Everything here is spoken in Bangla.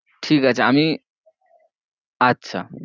ঠিকাছে আমি আচ্ছা